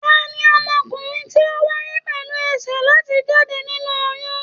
Tani ọmọkùnrin ti wáyé pẹlú ẹsẹ láti jáde nínú oyún?